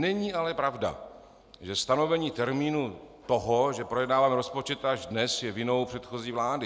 Není ale pravda, že stanovení termínu toho, že projednáváme rozpočet až dnes, je vinou předchozí vlády.